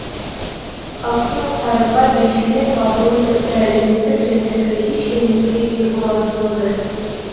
халықтың қарызға белшеден батуы тіпті әлеуметтік және саяси шиеленіске дейін ұласып отыр